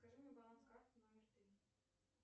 скажи мне баланс карты номер три